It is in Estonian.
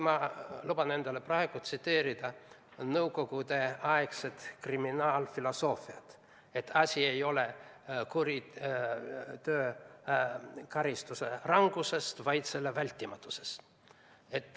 Ma luban endale praegu tsiteerida nõukogudeaegset kriminaalfilosoofiat: asi ei ole karistuse ranguses, vaid selle vältimatuses.